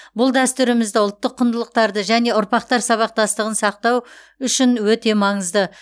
бұл дәстүрімізді ұлттық құндылықтарды және ұрпақтар сабақтастығын сақтау үшін өте маңызды